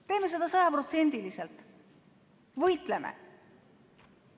Teeme seda sajaprotsendiliselt, võitleme.